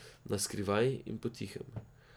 Naskrivaj in potihem.